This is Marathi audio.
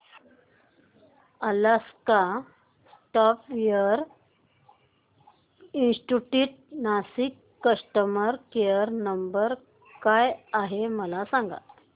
अलास्का सॉफ्टवेअर इंस्टीट्यूट नाशिक चा कस्टमर केयर नंबर काय आहे मला सांग